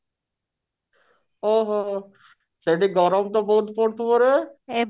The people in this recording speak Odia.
ଓ ହୋ ହୋ ଶେଠି ଗରମ ତ ବହୁତ ପଡୁଥିବ ରେ